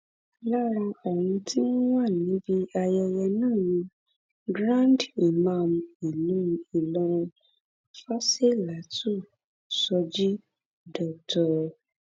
lára àwọn tí wọn wà níbi ayẹyẹ náà ni grandimam ìlú ìlọrin fásilátù shoji dr